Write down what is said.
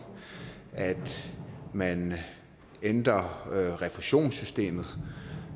at man ændrer refusionssystemet